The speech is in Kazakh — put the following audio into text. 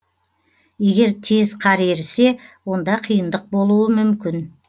егер тез қар ерісе онда қиындық болуы мүмкін